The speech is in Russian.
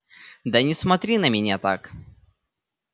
да не смотри на меня так